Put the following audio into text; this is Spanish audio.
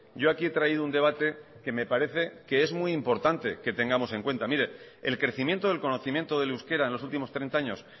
yo aquí he traído un debate que me parece que es muy importante que tengamos en cuenta el crecimiento y conocimiento del euskera en los últimos treinta años